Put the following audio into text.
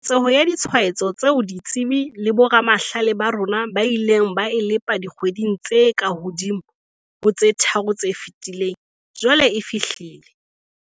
Keketseho ya ditshwaetso tseo ditsebi le boramahlale ba rona ba ileng ba e lepa dikgweding tse kahodimo ho tse tharo tse fetileng, jwale e fihlile.